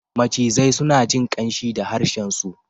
Macizai suna jin ƙanshi da harshensu.